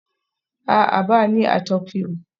A'a, ba ni a Tokyo